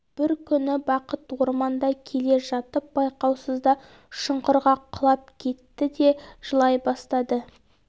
бір күні бақыт орманда келе жатып байқаусызда шұңқырға құлап кетті де жылай бастады